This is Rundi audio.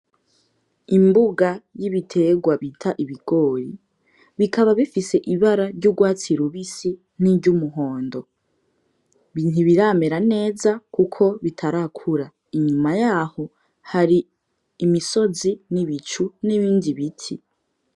Imbuga y'ibiterwa bita ibigori bikaba bifise ibara ry'urwatsi rubisi n'iry'umuhondo. Ntibiramera neza kuko bitarakura, inyuma yaho hari imisozi n'ibicu n'ibindi biti.